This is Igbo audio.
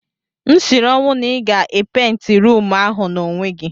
M siri ọnwụ na ị ga-epenti ruumu ahụ n'onwe gị.